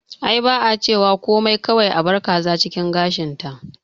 Ai ba a cewa komai kawai abar kaza cikin gashin ta